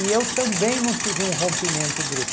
E eu também não tive um rompimento brusco.